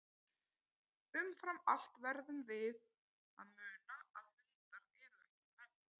Umfram allt verðum við að muna að hundar eru ekki menn.